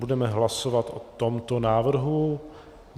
Budeme hlasovat o tomto návrhu.